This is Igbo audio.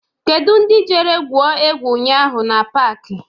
Kedụ ndị jere gwuo egwu ụnyaahụ n'pak?